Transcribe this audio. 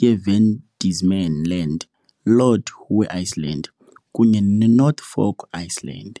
yeVan Diemen's Land, Lord Howe Island, kunye neNorfolk Island .